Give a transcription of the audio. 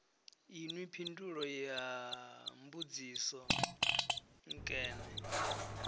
inwi phindulo ya mbudziso nkene